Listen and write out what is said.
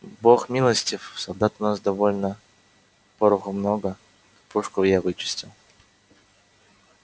бог милостив солдат у нас довольно пороху много пушку я вычистил